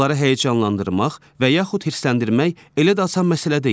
Onları həyəcanlandırmaq və yaxud hirsləndirmək elə də asan məsələ deyil.